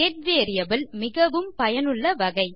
get variable மிகவும் பயனுள்ள வகை